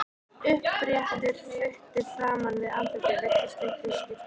Uppréttur putti framan við andlitið virtist litlu skipta.